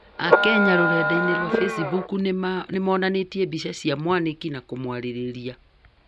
Akenya rũrendainĩ rwa facebook nĩmarĩrĩtie mbica cia Mwaniki na kũmwarĩrĩria